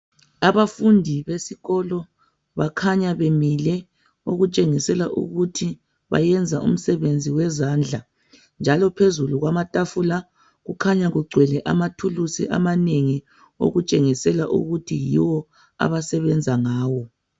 Abafundi besikolo bakhanya bemile. Okutshengisela ukuthi bayenza umsebenzi wezandla. Njalo phezulu kwamatafula kukhanya kugcwele amathulusi amanengi, okutshengisela ukuthi yiwo abasebenza ngawo